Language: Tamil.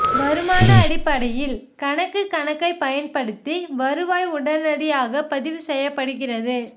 வருமான அடிப்படையில் கணக்கு கணக்கைப் பயன்படுத்தி வருவாய் உடனடியாக பதிவு செய்யப்படுகிறது